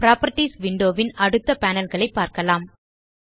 properties window ன் அடுத்த panel களை பார்க்கலாம்